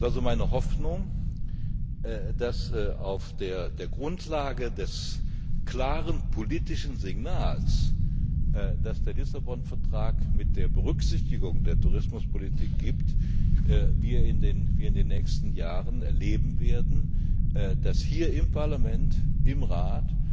Es ist meine Hoffnung, dass wir auf der Grundlage des klaren politischen Signals, das der Lissabon Vertrag mit der Berücksichtigung der Tourismuspolitik gibt, in den nächsten Jahren erleben werden, dass hier im Parlament, im Rat